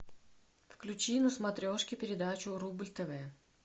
включи на смотрешке передачу рубль тв